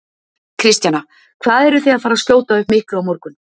Kristjana: Hvað eruð þið að fara skjóta upp miklu á morgun?